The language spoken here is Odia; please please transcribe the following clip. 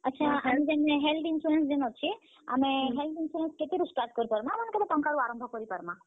ଆଛା, health insurance ଯେନ୍ ଅଛେ, ଆମେ health insurance କେତେ ରୁ start କରିପାରମା ବା କେତେ ଟଙ୍କା ରୁ ଆରମ୍ଭ କରିପାରମା?